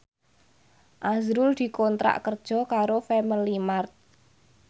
azrul dikontrak kerja karo Family Mart